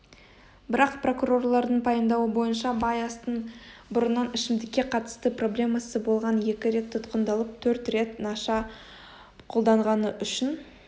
бірақ прокурорлардың пайымдауы бойынша байастың бұрыннан ішімдікке қатысты проблемасы болған екі рет тұтқындалып төрт рет наша қолданғаны үшін